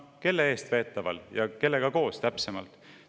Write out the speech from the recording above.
Kelle eestveetaval ja kellega koos täpsemalt?